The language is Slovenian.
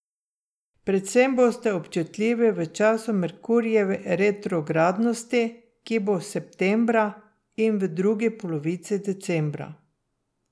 Predvsem boste občutljivi v času Merkurjeve retrogradnosti, ki bo septembra, in v drugi polovici decembra.